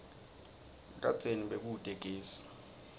kadzeni bekute gesi